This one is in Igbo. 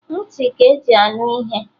Nti ka-eji anụ ihe